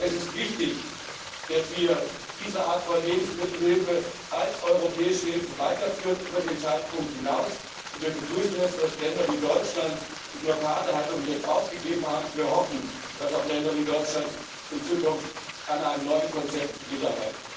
Es ist wichtig, dass wir diese Art von Lebensmittelhilfe als europäische Hilfe über den Zeitpunkt hinaus weiterführen. Wir begrüßen es, dass Länder wie Deutschland die Blockadehaltung jetzt aufgegeben haben, und wir hoffen, dass auch Länder wie Deutschland in Zukunft an einem neuen Konzept mitarbeiten.